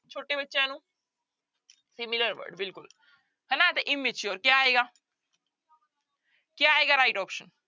ਛੋਟੇ ਬੱਚਿਆਂ ਨੂੰ similar word ਬਿਲਕੁਲ ਹਨਾ ਤੇ immature ਕਿਆ ਆਏਗਾ ਕਿਆ ਆਏਗਾ right option